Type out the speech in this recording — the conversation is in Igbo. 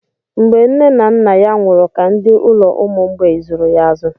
Mgbe nne na nna ya nwụrụ ka ndị ụlọ ụmụ mgbei zụrụ ya azụ.